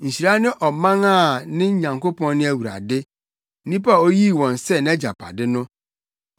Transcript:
Nhyira ne ɔman a ne Nyankopɔn ne Awurade, nnipa a oyii wɔn sɛ nʼagyapade no.